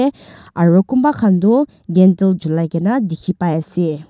eh aro kunba khan tu gandle juligena dikhi pai ase.